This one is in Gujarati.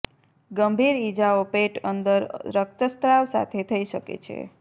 ગંભીર ઇજાઓ પેટ અંદર રક્તસ્ત્રાવ સાથે થઈ શકે છે